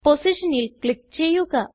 പൊസിഷനിൽ ക്ലിക്ക് ചെയ്യുക